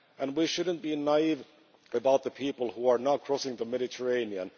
We should not be naive about the people who are now crossing the Mediterranean.